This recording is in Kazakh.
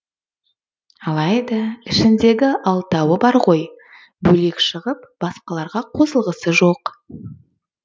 алайда ішіндегі алтауы бар ғой бөлек шығып басқаларға қосылғысы жоқ